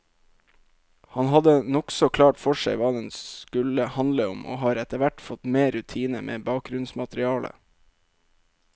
Han hadde nokså klart for seg hva den skulle handle om, og har etterhvert fått mer rutine med bakgrunnsmaterialet.